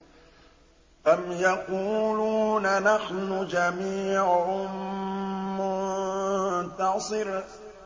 أَمْ يَقُولُونَ نَحْنُ جَمِيعٌ مُّنتَصِرٌ